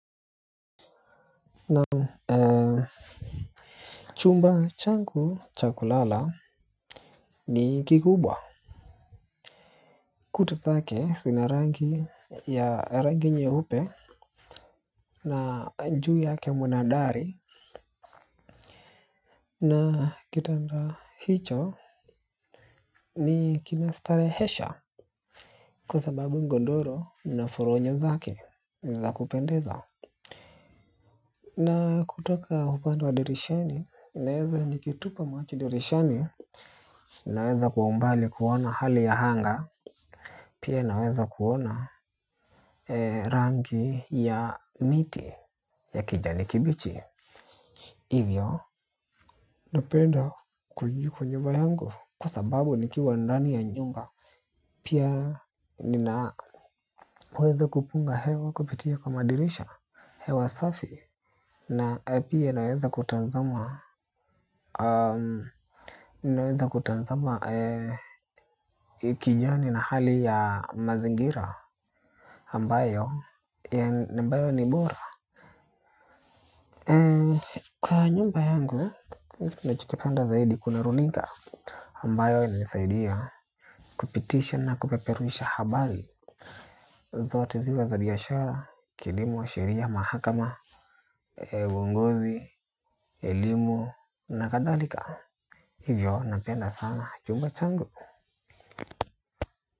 Chumba changu cha kulala ni kikubwa. Kuta zake zina rangi nyeupe. Na juu yake mna dari. Na kitanda hicho kina starehesha. Kwa sababu godoro na furonyo zake za kupendeza na kutoka upande wa dirishani ninaeza nikitupa macho dirishani. Naweza kwa umbali kuona hali ya anga. Pia naweza kuona rangi ya miti ya kijani kibichi. Hivyo napenda kukaa kwa nyumba yangu kwa sababu nikiwa ndani ya nyumba. Pia ninaweza kupunga hewa kupitia kama dirisha hewa safi. Na pia naweza kutazama kijani na hali ya mazingira ambayo ni bora. Kwa nyumba yangu, ninachokipenda zaidi kuna runinga ambayo inanisaidia kupitisha na kupeperusha habari zote ziwe za biashara, kilimo, sheria, mahakama, uongozi, kilimo na kathalika. Hivyo, napenda sana, chumba changu.